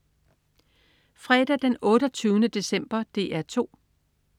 Fredag den 28. december - DR 2: